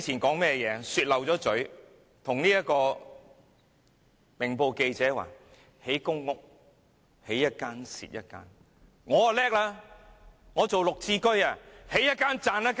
她說漏了嘴，告訴《明報》記者興建公屋會"起一間，蝕一間"；她卻厲害了，她打造綠置居，"起一間，賺一間"。